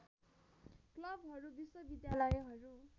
क्लबहरू विश्वविद्यालयहरू